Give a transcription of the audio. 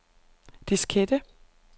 diskette